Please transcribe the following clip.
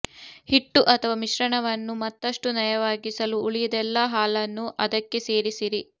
ಹಿಟ್ಟು ಅಥವಾ ಮಿಶ್ರಣವನ್ನು ಮತ್ತಷ್ಟು ನಯವಾಗಿಸಲು ಉಳಿದೆಲ್ಲಾ ಹಾಲನ್ನೂ ಅದಕ್ಕೆ ಸೇರಿಸಿರಿ